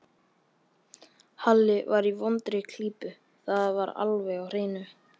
Halli var í vondri klípu, það var alveg á hreinu.